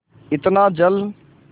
इतना जल